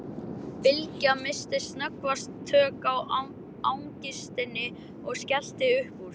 Bylgja missti snöggvast tök á angistinni og skellti upp úr.